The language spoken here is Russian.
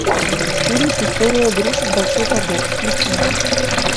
фильм история игрушек большой побег включи мне